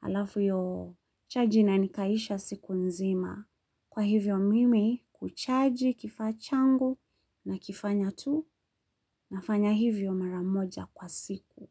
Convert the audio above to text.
Alafu iyo chaji inanikaisha siku nzima. Kwa hivyo mimi kuchaji kifaa changu nakifanya tu nafanya hivyo mara moja kwa siku.